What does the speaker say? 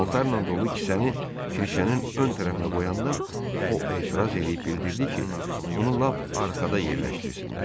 Paltarlan dolu kisəni kirşənin ön tərəfinə qoyanda o etiraz eləyib bildirdi ki, onu lap arxada yerləşdirsinlər.